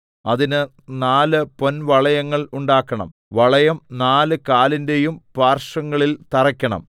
അതിന് നാല് പൊൻവളയങ്ങൾ ഉണ്ടാക്കണം വളയം നാല് കാലിന്റെയും പാർശ്വങ്ങളിൽ തറയ്ക്കണം